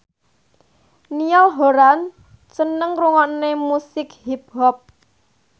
Niall Horran seneng ngrungokne musik hip hop